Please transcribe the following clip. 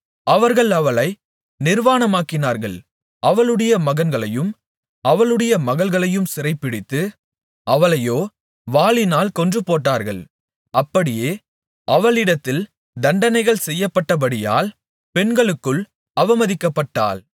அவர்கள் அவளை நிர்வாணமாக்கினார்கள் அவளுடைய மகன்களையும் அவளுடைய மகள்களையும் சிறைபிடித்து அவளையோ வாளினால் கொன்றுபோட்டார்கள் அப்படியே அவளிடத்தில் தண்டனைகள் செய்யப்பட்டபடியால் பெண்களுக்குள் அவமதிக்கப்பட்டாள்